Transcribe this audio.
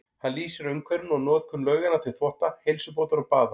Hann lýsir umhverfinu og notkun lauganna til þvotta, heilsubótar og baða.